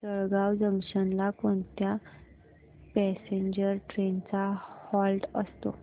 Jalgaon junction ला कोणत्या passenger trains चा हॉल्ट असतो